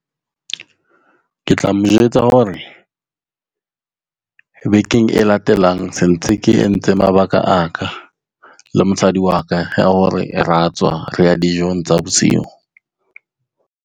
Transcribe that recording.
Ke tla mo jwetsa hore bekeng e latelang sentse ke entse mabaka aka le mosadi wa ka ya hore ra tswa re ya dijong tsa bosiu.